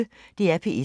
DR P1